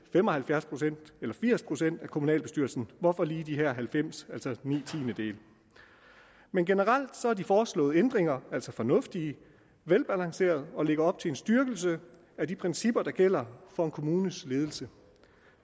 fem og halvfjerds procent eller firs procent af kommunalbestyrelsen hvorfor lige de halvfems altså ni tiendedele men generelt er de foreslåede ændringer altså fornuftige og velafbalancerede og lægger op til en styrkelse af de principper der gælder for en kommunes ledelse